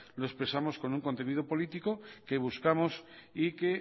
lo expresamos con un contenido político que buscamos y que